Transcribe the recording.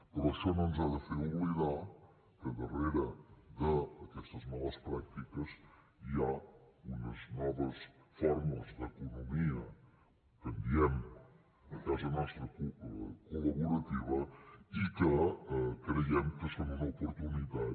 però això no ens ha de fer oblidar que darrere d’aquestes males pràctiques hi ha unes noves formes d’economia que en diem a casa nostra col·laborativa i que creiem que són una oportunitat